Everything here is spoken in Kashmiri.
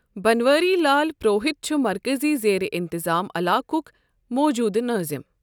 بنواری لال پروہت چھ مركزی زیر انتظام علاقک موجودٕ نٲظِم۔